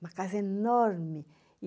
Uma casa enorme.